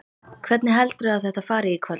Hvernig heldurðu að þetta fari í kvöld?